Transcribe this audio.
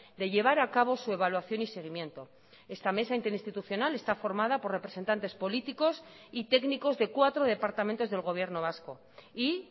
de llevar a cabo su evaluación y seguimiento esta mesa interinstitucional está formada por representantes políticos y técnicos de cuatro departamentos del gobierno vasco y